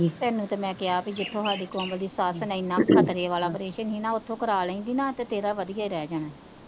ਤੈਨੂੰ ਤੇ ਮੈ ਕਿਹਾ ਭੇਈ ਜਿੱਥੋਂ ਸਾਡੀ ਕੋਮਲ ਦੀ ਸੱਸ ਨੇ ਇਨਾਂ ਓੱਖਾ ਤਲੇ ਵਾਲਾਂ ਪ੍ਰੇਸ਼ਨ ਸੀ ਓਥੋਂ ਕਰ ਲੈਂਦੀ ਨਾਂ ਤੇ ਤੇਰਾ ਵਧੀਆ ਰਿਹ ਜਾਣਾ ਸੀ,